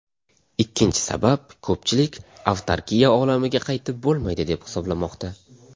Ikkinchi sabab , ko‘pchilik avtarkiya olamiga qaytib bo‘lmaydi deb hisoblamoqda.